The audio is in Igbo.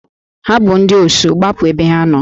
Ha bụ ndị Osu, gbapụ ebe ha nọ!